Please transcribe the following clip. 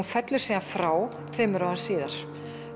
fellur síðan frá tveimur árum síðar